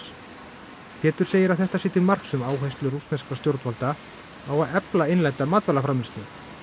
Pétur segir að þetta sé til marks um áherslu rússneskra stjórnvalda á að efla innlenda matvælaframleiðslu